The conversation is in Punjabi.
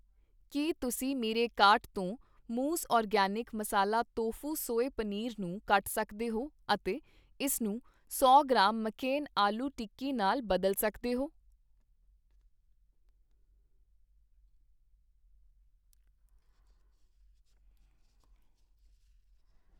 ਕੀ ਤੁਸੀਂ ਮੇਰੇ ਕਾਰਟ ਤੋਂ ਮੌਜ਼ organic masala tofu soy paneer ਨੂੰ ਕੱਟ ਸਕਦੇ ਹੋ ਅਤੇ ਇਸ ਨੂੰ ਸੌ ਗ੍ਰਾਮ ਮੈਕਕੇਨ ਆਲੂ ਟਿੱਕੀ ਨਾਲ ਬਦਲ ਸਕਦੇ ਹੋ